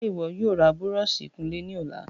Ṣe iwọ yoo ra búrọ̀ọ̀sì ìkunlé ni ọla?